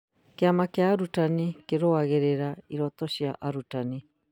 Kĩama kĩa arutani kĩrũagĩrĩra ihoto cia arutani